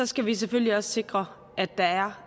skal vi selvfølgelig også sikre at der er